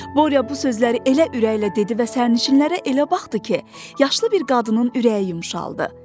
Borya bu sözləri elə ürəklə dedi və sərnişinlərə elə baxdı ki, yaşlı bir qadının ürəyi yumşaldı.